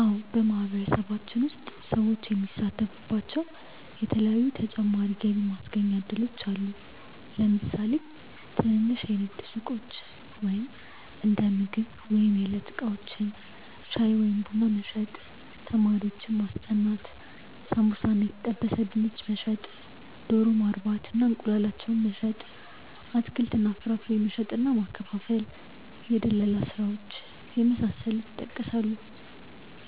አዎ በማህበረሰባችን ውስጥ ሰዎች የሚሳተፉባቸዉ የተለያዪ ተጨማሪ የገቢ ማስገኛ እድሎች አሉ። ለምሳሌ ትንንሽ የንግድ ሱቆች(እንደምግብ ወይም የዕለት እቃዎች) ፣ ሻይ ወይም ቡና መሸጥ፣ ተማሪዎችን ማስጠናት፣ ሳምቡሳ እና የተጠበሰ ድንች መሸጥ፣ ዶሮ ማርባት እና እንቁላላቸውን መሸጥ፣ አትክልት እና ፍራፍሬ መሸጥ እና ማከፋፈል፣ የድለላ ስራዎች የመሳሰሉት ይጠቀሳሉ።